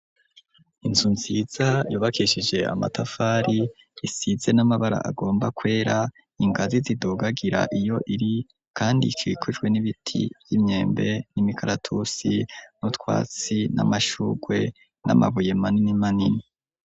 Inzu nziza yubakeshije amatafari isize n'amabara agomba kwera ingazi zidugagira iyo iri kandi ikikujwe n'ibiti by'imyembe n'imikaratusi nutwatsi n'amashugwe n'amabuye manini manini.